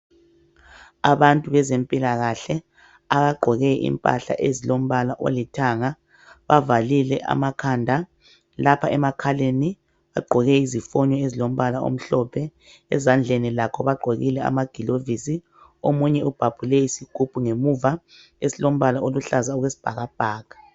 Abantu bezempilakahle. Abagqoke impahla ezilombala olithanga. Bavalile amakhanda. Lapha emakhaleni, bagqoke izifonyo ezilombala omhlophe. Ezandleni lakho bagqokile amagilovisi. Omunye ubhabhule isigubhu ngemuva esilombala oluhlaza okwesibhakabhaka.